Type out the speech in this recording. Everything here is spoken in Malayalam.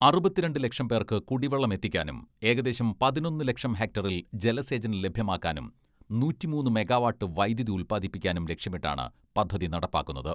അറുപത്തിരണ്ട് ലക്ഷം പേർക്ക് കുടിവെള്ളം എത്തിക്കാനും ഏകദേശം പതിനൊന്ന് ലക്ഷം ഹെക്ടറിൽ ജലസേചനം ലഭ്യമാക്കാനും നൂറ്റിമൂന്ന് മെഗാവാട്ട് വൈദ്യുതി ഉത്പാദിപ്പിക്കാനും ലക്ഷ്യമിട്ടാണ് പദ്ധതി നടപ്പാക്കുന്നത്.